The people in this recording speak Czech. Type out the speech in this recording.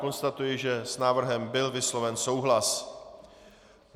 Konstatuji, že s návrhem byl vysloven souhlas.